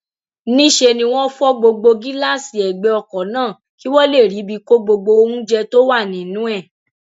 níṣẹ ni wọn fọ gbogbo gíláàsì ẹgbẹ ọkọ náà kí wọn lè ríbi kó gbogbo oúnjẹ tó wà nínú ẹ